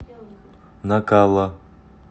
накала